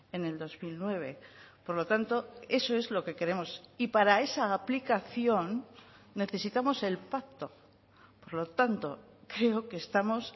en el dos mil nueve por lo tanto eso es lo que queremos y para esa aplicación necesitamos el pacto por lo tanto creo que estamos